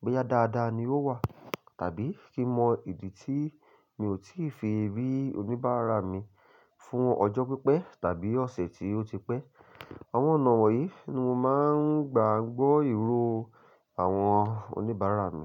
pé yá dáadáa ni ó wà, tàbí kí n mọ ìdí tí mi ò tíì fi rí oníbàárà mi fún ọjọ́ pípẹ́ tàbí ọ̀sẹ̀ tí ó ti pẹ́. Àwọn ọ̀nà wọ̀nyí ni mo máa ń gba gbọ́ ìró àwọn oníbàárà mi.